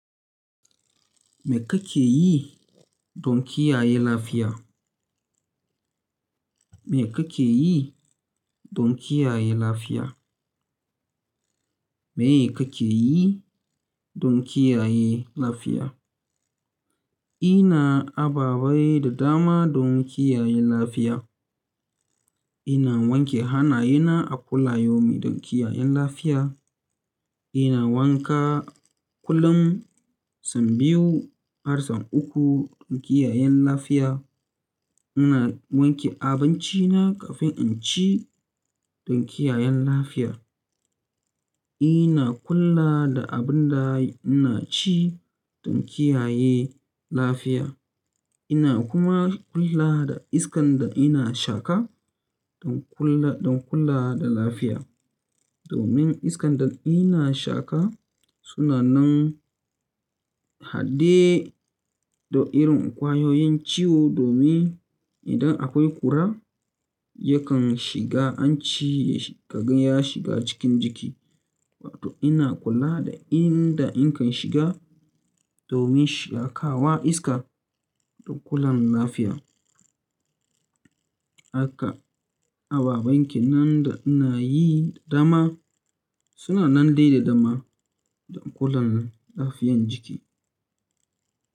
Me kake yi don kiyaye lafiya? Me kake yi don kiyaye lafiya? Me kake yi don kiyaye lafiya? Ina ababai da dama don kiyaye lafiya. Ina wanke hanayena a kulla yaumin don kiyayen lafiya. Ina wanka kullum sau biyu har sau uku don kiyayen lafiya. Ina wanke abincina kafin in ci don kiyayen lafiya. Ina kula da abin da ina ci don kiyaye lafiya. Ina kuma kula da iskan da ina shaka don kula, don kula da lafiya. Domin iskan da ina shaka suna nan haɗe da irin ƙwayoyin ciwo domin idan akwai ƙura yakan shiga, anci ka gan ya shiga cikin jiki. Wato ina kula da inda in kan shiga domin shakawa iska don kula lafiya. Haka ababen kenan da ina yi da dama suna nan dai da dama don kula da lafiyan jiki.